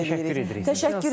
Buna görə də təşəkkür edirik.